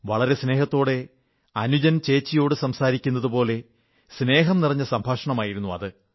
വളരെ സ്നേഹത്തോടെ അനുജൻ ചേച്ചിയോടു സംസാരിക്കുന്നതുപോലെ സ്നേഹം നിറഞ്ഞ സംഭാഷണമായിരുന്നു അത്